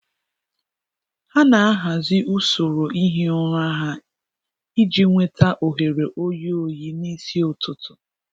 Ha na-ahazi usoro ihi ụra ha iji nweta ohere oyi oyi n'isi ụtụtụ.